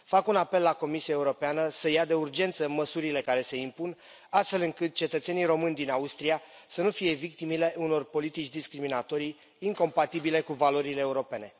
Fac un apel la Comisia Europeană, să ia de urgență măsurile care se impun, astfel încât cetățenii români din Austria să nu fie victimele unor politici discriminatorii, incompatibile cu valorile europene.